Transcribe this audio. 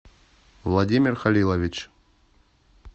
владимир халилович